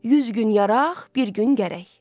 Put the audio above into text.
100 gün yaraq, bir gün gərək.